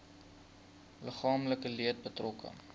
liggaamlike leed betrokke